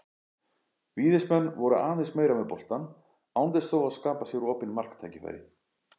Víðismenn voru aðeins meira með boltann án þess þó að skapa sér opin marktækifæri.